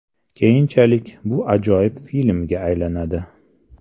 Keyinchalik bu ajoyib filmga aylanadi.